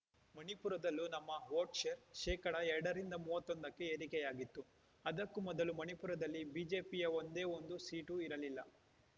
ಮಣಿಪುರದಲ್ಲೂ ನಮ್ಮ vote share ಶೇಕಡಾ ಎರಡರಿಂದ ಮೂವತ್ತೊಂದಕ್ಕೆ ಏರಿಕೆಯಾಗಿತ್ತು ಅದಕ್ಕೂ ಮೊದಲು ಮಣಿಪುರದಲ್ಲಿ ಬಿಜೆಪಿಯ ಒಂದೇ ಒಂದು ಸೀಟು ಇರಲಿಲ್ಲ